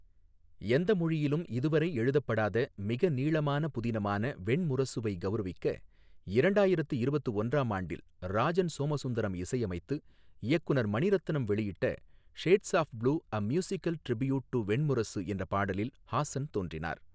எந்த மொழியிலும் இதுவரை எழுதப்படாத மிக நீளமான புதினமான வெண்முரசுவைக் கௌரவிக்க இரண்டாயிரத்து இருபத்து ஒன்றாம் ஆண்டில் ராஜன் சோமசுந்தரம் இசையமைத்து இயக்குநர் மணிரத்னம் வெளியிட்ட shades of blue a musical tribute to Venmurasu என்ற பாடலில் ஹாசன் தோன்றினார்.